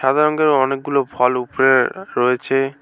সাদা রঙের অনেকগুলো ফল উপরে রয়েছে।